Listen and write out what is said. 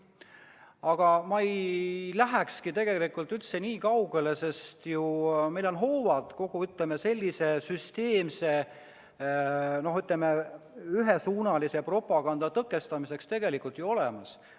Aga ma ei lähekski tegelikult üldse nii kaugele, sest meil on ju hoovad kogu sellise süsteemse ühesuunalise propaganda tõkestamiseks tegelikult olemas.